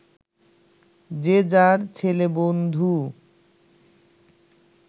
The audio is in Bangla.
যে যার ছেলেবন্ধু